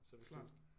Klart